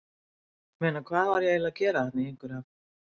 ég meina, hvað var ég eiginlega að gera þarna, í einhverju af